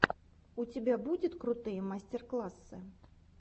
у тебя будет крутые мастер классы